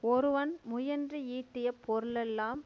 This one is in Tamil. ஒருவன் முயன்று ஈட்டிய பொருளெல்லாம்